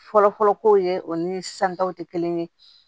Fɔlɔfɔlɔ kow ye o ni san taw tɛ kelen ye